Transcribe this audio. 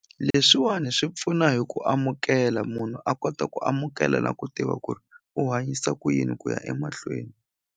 Leswiwani swi pfuna hi ku amukela munhu a kota ku amukela na ku tiva ku ri u hanyisa ku yini ku ya emahlweni.